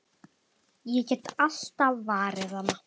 Ég get alltaf varið hana!